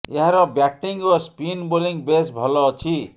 ଏହାର ବ୍ୟାଟିଂ ଓ spin bowling ବେଶ୍ ଭଲ ଅଛି